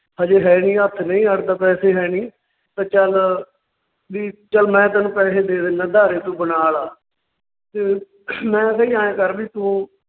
ਹਜੇ ਹੈਨੀ, ਹੱਥ ਨਈਂ ਅੜਦਾ, ਪੈਸੇ ਹੈਨੀ ਤਾਂ ਚੱਲ ਵੀ ਚੱਲ ਮੈਂ ਤੈਨੂੰ ਪੈਸੇ ਦੇ ਦਿਨਾ ਉਧਾਰੇ ਤੂੰ ਬਣਾਲਾ ਤੇ ਮੈਂ ਕਿਹਾ ਜੀ ਆਏਂ ਕਰ ਵੀ ਤੂੰ